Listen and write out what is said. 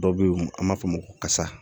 Dɔ bɛ yen an b'a fɔ o ma ko kasa